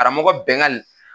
Karamɔgɔ Bɛngali